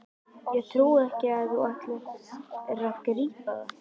Ég trúi ekki að þú ætlir ekki að grípa það!